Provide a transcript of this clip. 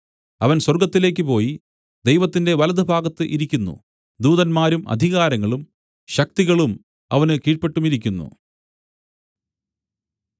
അവൻ സ്വർഗ്ഗത്തിലേക്ക് പോയി ദൈവത്തിന്റെ വലത്തുഭാഗത്ത് ഇരിക്കുന്നു ദൂതന്മാരും അധികാരങ്ങളും ശക്തികളും അവന് കീഴ്പെട്ടുമിരിക്കുന്നു